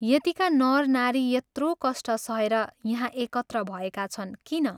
यतिका नर नारी यत्रो कष्ट सहेर यहाँ एकत्र भएका छन् किन?